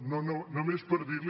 no només per dir li